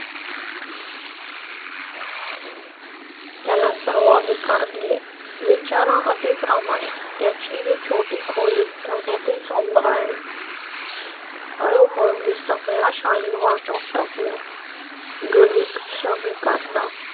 त्याला सर्वाधिकार दिले. विचारा अंती प्रमाणे त्या ची छोटी खोली त्याने ते चालू आहे. हळूहळू सगळे अशा आणि वाटून टाकल्या. गरीब श्रमिकां ना.